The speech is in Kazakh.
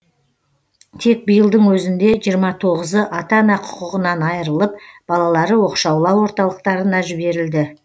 тек биылдың өзінде жиырма тоғызы ата ана құқығынан айрылып балалары оқшаулау орталықтарына жіберілді